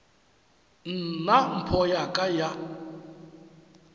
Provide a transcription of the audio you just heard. nna mpho ya ka ya